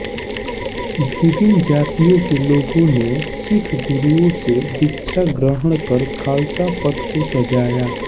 विभिन्न जातियों के लोग ने सिख गुरुओं से दीक्षा ग्रहणकर ख़ालसा पन्थ को सजाया